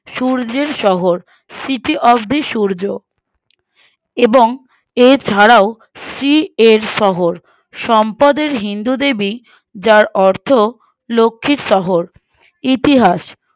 সূর্যের শহর City of the সূর্য উহ এবং এছাড়াও Sea এর শহর সম্পদের হিন্দুদেবী যার অর্থ লক্ষীর শহর ইতিহাস